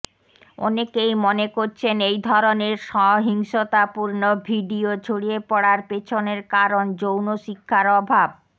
অনেকেই মনে করছেন এই ধরনের সহিংসতাপূর্ণ ভিডিও ছড়িয়ে পড়ার পেছনের কারণ যৌন শিক্ষার অভাব